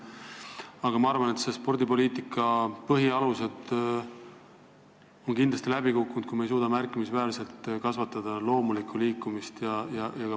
Aga ma arvan, et see "Eesti spordipoliitika põhialused" on kindlasti läbi kukkunud, kui me ei suuda märkimisväärselt loomulikku liikumist kasvatada.